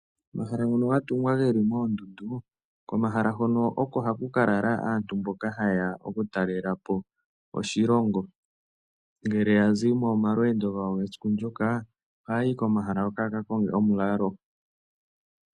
Omahala ngono ga tungwa ge li moondundu komahala hono oko haku ka lala anatu mboka haye ya okutalela po oshilongo. Ngele ya zi momalweendo gawo esiku ndyoka ohaya yi komahala hoka ya ka konge omulalo.